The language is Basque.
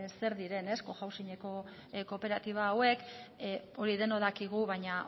zer diren cohousingeko kooperatiba hauek hori denok dakigu baina